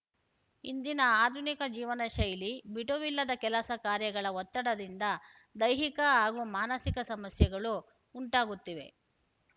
ಇಂದಿನ ಆಧುನಿಕ ಜೀವನ ಶೈಲಿ ಬಿಡುವಿಲ್ಲದ ಕೆಲಸ ಕಾರ್ಯಗಳ ಒತ್ತಡದಿಂದ ದೈಹಿಕ ಹಾಗೂ ಮಾನಸಿಕ ಸಮಸ್ಯೆಗಳು ಉಂಟಾಗುತ್ತಿವೆ